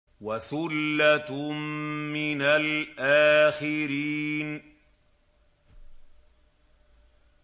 وَثُلَّةٌ مِّنَ الْآخِرِينَ